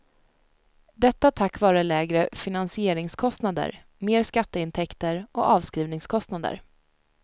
Detta tack vare lägre finansieringskostnader, mer skatteintäkter och avskrivningskostnader.